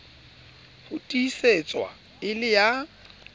ho tiisetswa e le ya